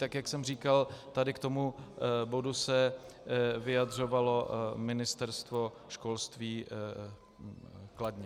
Tak jak jsem říkal, tady k tomu bodu se vyjadřovalo Ministerstvo školství kladně.